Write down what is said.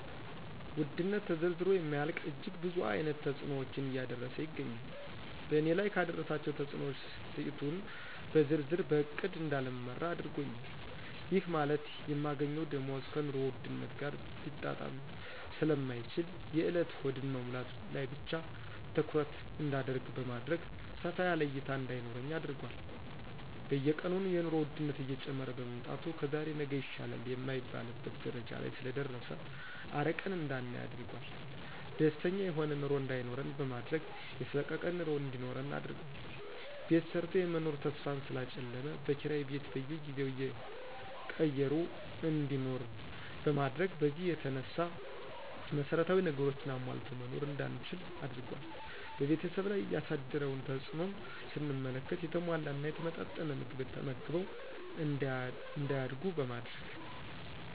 ውድነት ተዘርዝሮ የማያልቅ እጅግ ብዙ አይነት ተጽኖዎችን እያደረሰ ይገኛል በእኔ ላይ ካደረሳቸው ተጽኖዎች ትቂቱን ብዘረዝር በእቅድ እዳልመራ አድርጎኛል ይህ ማለት የማገኘው ደሞዝ ከኑሮ ውድነት ጋር ሊጣጣም ስለማይችል የእለት ሆድን መሙላት ላይ ብቻ ትኩረት እዳደርግ በማድረግ ሰፋ ያለ እይታ እዳይኖረኝ አድርጓል። በየቀኑ የኑሮ ወድነት እየጨመረ በመምጣቱ ከዛሬ ነገ ይሻላል የማይባልበት ደረጃ ላይ ስለደረሰ አርቀን እዳናይ አድርጓል። ደስተኛ የሆነ ኑሮ እዳይኖረን በማድረግ የሰቀቀን ኑሮ እንዲኖረን አድርጓል። ቤት ሰርቶ የመኖር ተስፋን ስላጨለመ በኪራይ ቤት በየጊዜው እየቀየሩ እንዲኖር በማድረግ በዚህ የተነሳ መሰረታዊ ነገሮችን አሟልቶ መኖር እዳንችል አድርጓል። በቤተሰብ ላይ ያሳደረውን ተጽእኖም ስንመለከት የተሟላና የተመጣጠነ ምግብ ተመግበው እዳያድጉ በማድረግ